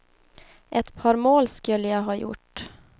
Ett par mål skulle jag ha gjort.